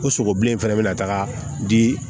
Ko sogo bilen fɛnɛ be na taga di